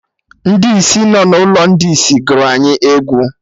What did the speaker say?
Ndị isi nọ n'ụlọ ndị isi gụrụ anyị egwu